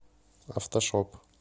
автошоп